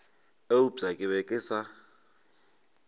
eupša ke be ke sa